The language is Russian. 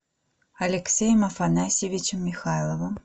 алексеем афанасьевичем михайловым